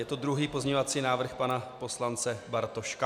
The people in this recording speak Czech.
Je to druhý pozměňovací návrh pana poslance Bartoška.